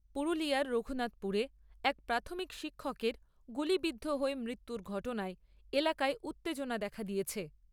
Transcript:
পুরুলিয়ার রঘুনাথপুরে এক প্রাথমিক শিক্ষকের গুলিবিদ্ধ হয়ে মৃত্যুর ঘটনায় এলাকায় উত্তেজনা দেখা দিয়েছে।